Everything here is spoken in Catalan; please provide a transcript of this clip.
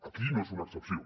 aquí no és una excepció